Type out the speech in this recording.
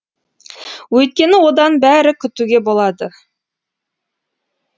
өйткені одан бәрі күтуге болады